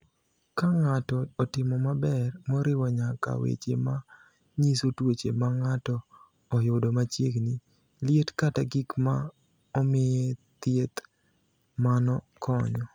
"Ka ng’ato otimo maber, moriwo nyaka weche ma nyiso tuoche ma ng’ato oyudo machiegni, liet, kata gik ma omiye thieth, mano konyo."